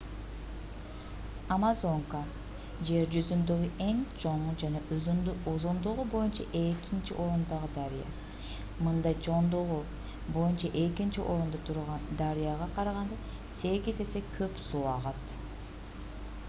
амазонка жер жүзүндөгү эң чоң жана узундугу боюнча экинчи орундагы дарыя мында чоңдугу боюнча экинчи орунда турган дарыяга караганда 8 эсе көп суу агат